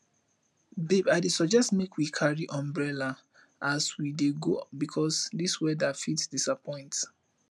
babe i dey suggest make we carry umbrella as we dey go because this weather fit disappoint